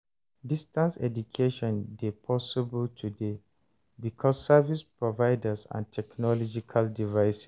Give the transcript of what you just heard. Distance education de possible today because service providers and technological devices